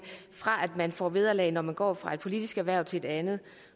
vil få vederlag når de går fra ét politisk hverv til et andet